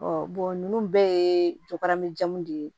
ninnu bɛɛ ye jakarijan de ye